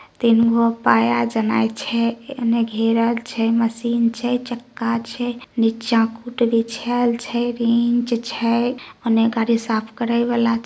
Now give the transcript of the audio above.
तीन गो पाया जना छै एने घेरल छै मशीन छै चक्का छै नीचा कूट बिछायल छै रिंच छै ऑने गाड़ी साफ करय वाला ---